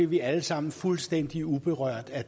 vi alle sammen fuldstændig uberørte af